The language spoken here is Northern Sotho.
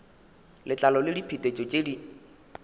letlalo le diphetetšo tšeo di